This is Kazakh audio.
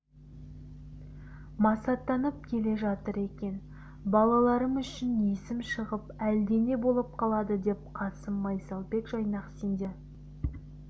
масаттанып келе жатыр екен балаларым үшін есім шығып әлдене болып қалады деп қасым майсалбек жайнақ сендерді